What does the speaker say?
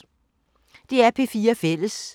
DR P4 Fælles